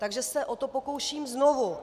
Takže se o to pokouším znovu.